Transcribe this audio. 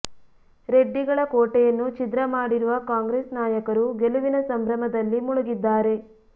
ರೆಡ್ಡಿಗಳ ಕೋಟೆಯನ್ನು ಛಿದ್ರ ಮಾಡಿರುವ ಕಾಂಗ್ರೆಸ್ ನಾಯಕರು ಗೆಲುವಿನ ಸಂಭ್ರಮದಲ್ಲಿ ಮುಳಗಿದ್ದಾರೆ